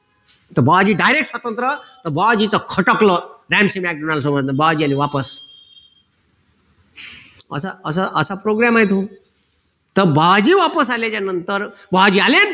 तर बुवाजी direct स्वातंत्र ते बुवाजीच्या खटकलं सोबत बुवाजी आले वापस असं असं असा program आहे तो तर बुवाजी वापस आल्याच्यानंतर बुवाजी आले